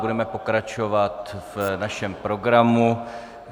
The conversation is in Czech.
Budeme pokračovat v našem programu.